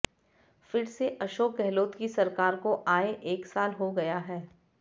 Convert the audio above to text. फिर से अशोक गहलोत की सरकार को आए एक साल हो गया है